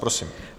Prosím.